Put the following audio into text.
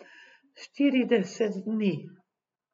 Štirideset dni.